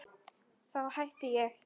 Þá hætti ég.